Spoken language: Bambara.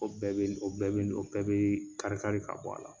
O bɛɛ bi o bɛɛ bi don o bɛɛ bɛ kari kari ka bɔ a la.